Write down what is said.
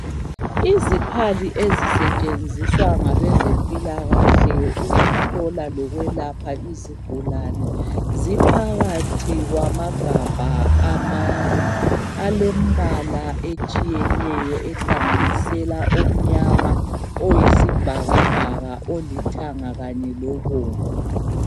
Izikhali ezisetshenziwa ngabe zempilakahle ukuhlola lokwelapha izigulani ziphakathi kwamagabha amane alembala etshiyeneyo ehlanganisela omnyama, oyisibhakabhaka, oluthanga kanye lobomvu.